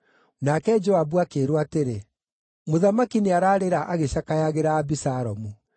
Nake Joabu akĩĩrwo atĩrĩ, “Mũthamaki nĩararĩra agĩcakayagĩra Abisalomu.”